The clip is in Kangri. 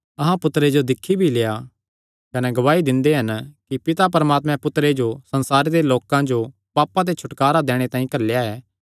अहां पुत्तरे जो दिक्खी भी लेआ कने गवाही दिंदे हन कि पिता परमात्मैं पुत्तरे जो संसारे दे लोकां जो पापां ते छुटकारा दैणे तांई घल्लेया ऐ